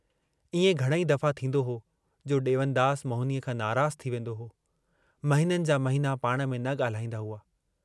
इएं घणेई दफ़ा थींदो हो जो ॾेवनदास मोहिनीअ खां नाराज़ु थी वेंदो हो, महिननि जा महिना पाण में न ॻाल्हाईंदा हुआ।